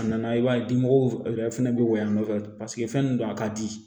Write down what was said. A nana i b'a ye dimɔgɔw yɛrɛ fɛnɛ bɛ woyo yan nɔ paseke fɛn nin don a ka di